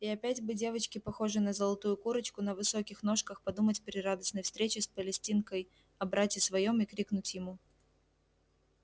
и опять бы девочке похожей на золотую курочку на высоких ножках подумать при радостной встрече с палестинкой о брате своём и крикнуть ему